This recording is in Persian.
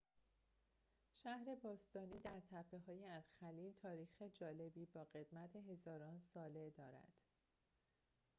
شهر باستانی در تپه‌های الخلیل تاریخ جالبی با قدمت هزاران ساله دارد